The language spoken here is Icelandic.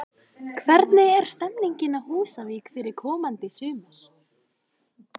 Hvernig er stemmingin á Húsavík fyrir komandi sumar?